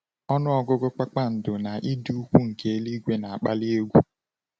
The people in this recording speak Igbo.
Ọnụ ọgụgụ kpakpando na ịdị ukwuu nke eluigwe na-akpali egwu.